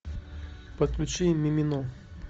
подключи мимино